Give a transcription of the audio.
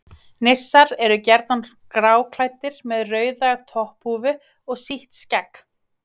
Nissar eru gjarnan gráklæddir með rauða topphúfu og sítt skegg.